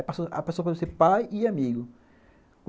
Aí pessoa pode ser ser pai e amigo.